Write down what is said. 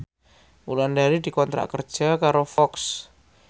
Wulandari dikontrak kerja karo Fox